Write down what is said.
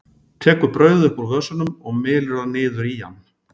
Tekur brauðið upp úr vösunum og mylur það niður í hann.